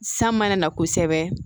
San mana na kosɛbɛ